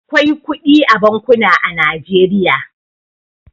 Akwai kudi a bankuna a Najeriya.